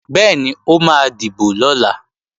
Bẹ́ẹ̀ni, ó máa dìbò lọ̀la